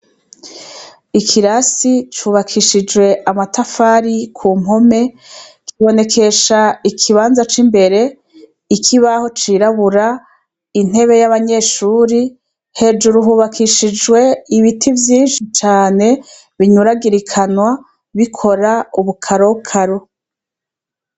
Ikirasi cubakishijwe amatafari ku mpome kibonekesha ikibanza c'imbere ikibaho cirabura, intebe y'abanyeshure hejuru hubakishijwe ibiti vyinshi cane binyuragirikanwa bikora ubukarokaro.